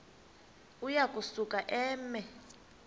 uya kusuka eme